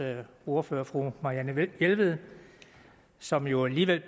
ordfører fru marianne jelved som jo alligevel